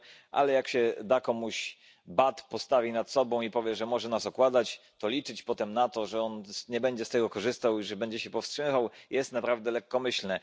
Ale jak się komuś da bat, postawi nad sobą i powie, że może nas okładać, to liczyć potem na to, że on nie będzie z tego korzystał i że będzie się powstrzymywał, jest naprawdę lekkomyślne.